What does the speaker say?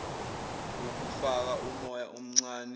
ukufaka umoya omncane